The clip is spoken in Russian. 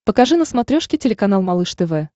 покажи на смотрешке телеканал малыш тв